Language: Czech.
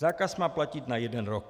Zákaz má platit na jeden rok.